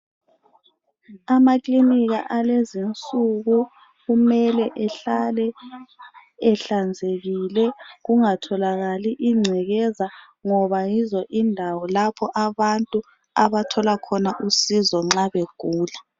Amaklinika alezinsuku kumele ehlale ehlanzekile kungatholakali ingcekeza ngoba yizondawo abantu abathola khona usizo nxa begula